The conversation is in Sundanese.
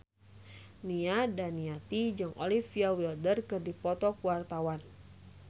Nia Daniati jeung Olivia Wilde keur dipoto ku wartawan